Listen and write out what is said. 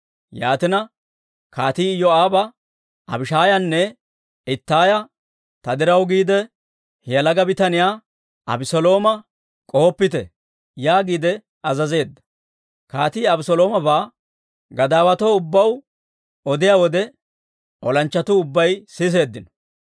Yaatina, kaatii Iyoo'aaba Abishaayanne Ittaaya, «Ta diraw giide, he yalaga bitaniyaa Abeselooma k'ohoppite» yaagiide azazeedda. Kaatii Abeseloomabaa gadaawatuu ubbaw odiyaa wode, olanchchatuu ubbay siseeddino.